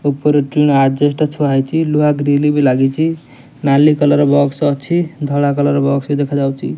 ଉପରେ ଆଜବେଷ୍ଟ ଥୁଆହେଇଚି ଲୁହା ଗ୍ରିଲ ବି ଲାଗିଚି ନାଲି କଲର ବକ୍ସ ଅଛି ଧଳା କଲର ବକ୍ସ ଦେଖାଯାଉଚି ।